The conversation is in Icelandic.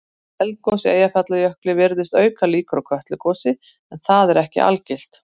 Eldgos í Eyjafjallajökli virðist auka líkur á Kötlugosi en það er ekki algilt.